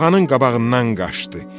Buğanın qabağından qaçdı.